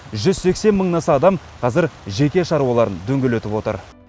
жүз сексен мыңнан аса адам қазір жеке шаруаларын дөңгелетіп отыр